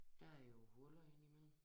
Der er jo huller inde i mellem